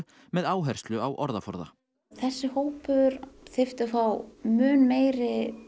með áherslu á orðaforða þessi hópur þyrfti að fá mun meiri